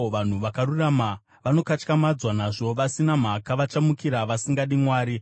Vanhu vakarurama vanokatyamadzwa nazvo; vasina mhaka vachamukira vasingadi Mwari.